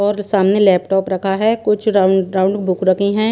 और सामने लैपटॉप रखा हैं कुछ राउंड राउंड बुक रखी हैं।